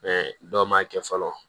dɔw ma kɛ fɔlɔ